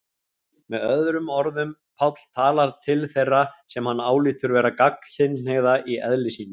Með öðrum orðum, Páll talar til þeirra sem hann álítur vera gagnkynhneigða í eðli sínu.